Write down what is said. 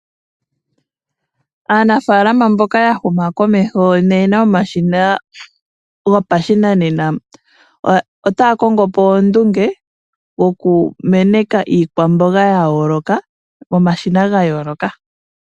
Aanafaalama mboka ya huma komeho noyena omashina gopashinanena otaya kongo po ondunge yokumeneka iikwamboga ya yooloka momashina ga yooloka.